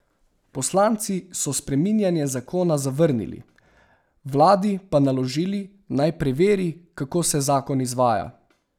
Poslanci so spreminjanje zakona zavrnili, vladi pa naložili, naj preveri, kako se zakon izvaja.